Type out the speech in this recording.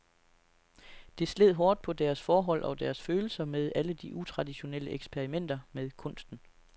Det sled hårdt på deres forhold og deres følelser med alle de utraditionelle eksperimenter med kunsten.